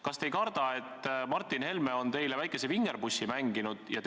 Kas te ei karda, et Martin Helme on teile väikese vingerpussi mänginud?